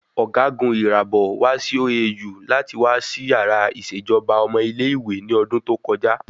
Ọ̀gágun Irabor wá sí OAU láti wá ṣí yàrá ìṣèjọba ọmọ ilé ìwé ní ọdún tó kọjá